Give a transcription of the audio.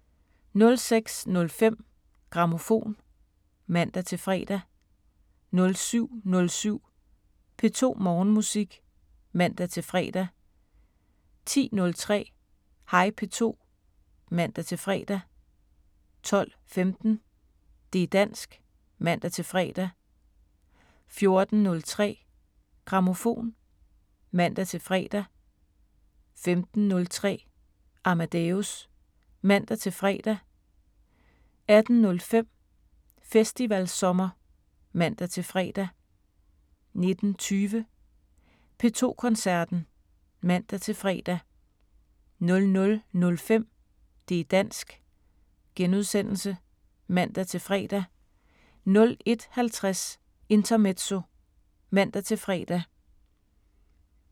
06:05: Grammofon (man-fre) 07:07: P2 Morgenmusik (man-fre) 10:03: Hej P2 (man-fre) 12:15: Det´ dansk (man-fre) 14:03: Grammofon (man-fre) 15:03: Amadeus (man-fre) 18:05: Festivalsommer (man-fre) 19:20: P2 Koncerten (man-fre) 00:05: Det´ dansk *(man-fre) 01:50: Intermezzo (man-fre)